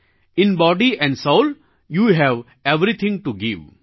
in body and soul you have everything to give